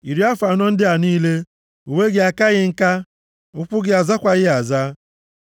Iri afọ anọ ndị a niile, uwe gị akaghị nka, ụkwụ gị azakwaghị aza.